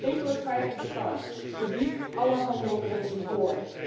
Laat geen enkele twijfel bestaan en verbied alle handel in ivoor.